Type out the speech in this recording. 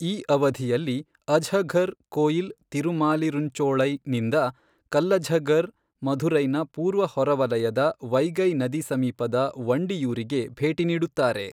ಈ ಅವಧಿಯಲ್ಲಿ ಅಜ್ಹಘರ್ ಕೋಯಿಲ್ ತಿರುಮಾಲಿರುಂಚೋಳೈ ನಿಂದ ಕಲ್ಲಜ್ಹಘರ್ ಮಧುರೈನ ಪೂರ್ವ ಹೊರವಲಯದ ವೈಗೈ ನದಿ ಸಮೀಪದ ವಂಡಿಯೂರಿಗೆ ಭೇಟಿ ನೀಡುತ್ತಾರೆ.